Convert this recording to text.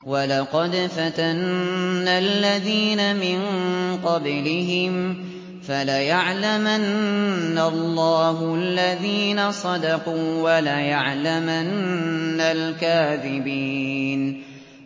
وَلَقَدْ فَتَنَّا الَّذِينَ مِن قَبْلِهِمْ ۖ فَلَيَعْلَمَنَّ اللَّهُ الَّذِينَ صَدَقُوا وَلَيَعْلَمَنَّ الْكَاذِبِينَ